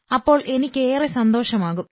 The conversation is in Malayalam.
അപ്പോൾ എനിക്കേറെ സന്തോഷമാകും